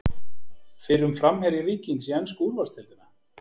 Fyrrum framherji Víkings í ensku úrvalsdeildina?